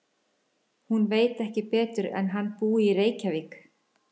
Hún veit ekki betur en hann búi í Reykjavík.